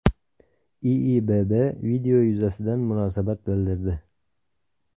IIBB video yuzasidan munosabat bildirdi.